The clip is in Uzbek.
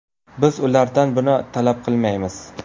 Biz ulardan buni talab qilmaymiz.